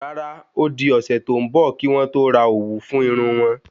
Rárá odi ósé to n bọ ki wọn to rà òwú fún Irún won